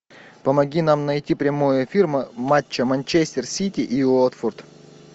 помоги нам найти прямой эфир матча манчестер сити и уотфорд